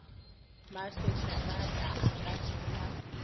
maseterata a ka se sa